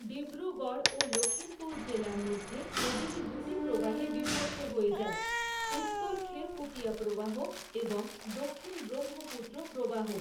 ডিব্রুগড় ও লখিমপুর জেলার মধ্যে নদীটি দুটি প্রবাহে বিভক্ত হয়ে যায় উত্তর খেরকুটিয়া প্রবাহ এবং দক্ষিণ ব্রহ্মপুত্র প্রবাহ।